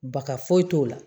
Baka foyi t'o la